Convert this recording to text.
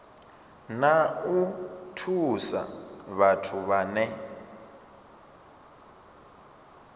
na u thusa vhathu vhane